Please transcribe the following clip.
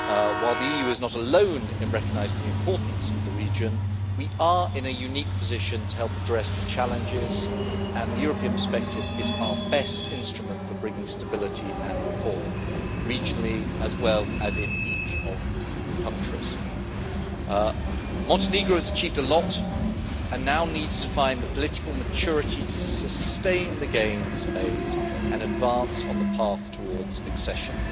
While the EU is not alone in recognising the importance of the region, we are in a unique position to help address the challenges, and the European perspective is our best instrument for bringing stability and reform, regionally as well as in each of the countries. Montenegro has achieved a lot and now needs to find the political maturity to sustain the gains made and advance on the path towards accession.